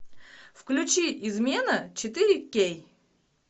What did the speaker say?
включи измена четыре кей